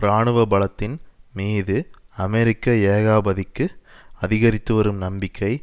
இராணுவ பலத்தின் மீது அமெரிக்க ஏகாபத்திக்கு அதிகரித்துவரும் நம்பிக்கை